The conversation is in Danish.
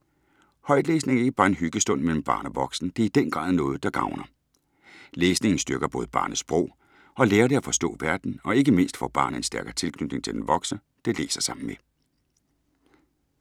Højtlæsning er ikke bare en hyggestund mellem barn og voksen, det er i den grad noget, der gavner. Læsningen styrker både barnets sprog og lærer det at forstå verden - og ikke mindst får barnet en stærkere tilknytning til den voksne, det læser sammen med.